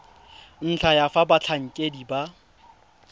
ntlha ya fa batlhankedi ba